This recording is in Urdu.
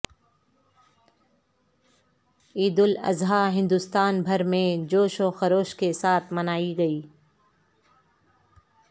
عیدالاضحی ہندوستان بھر میں جوش و خروش کے ساتھ منائی گئی